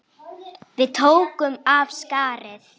Við tókum af skarið.